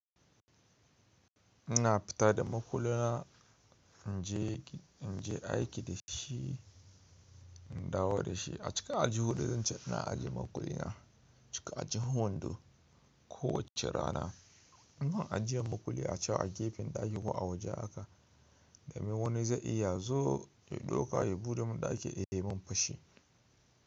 Ina fita da makulla, in je, in je aiki da shi, in dawo da shi. A cika aljihun da zan ci, ina ajiye makulli na cika aljihun wando. Ko wacce rana ina ajiyen makulli a can a gefen daki ko a waje aka, domin wani zai iya zo ya ɗauka ya buɗe mun daki, ya yi mun fashi.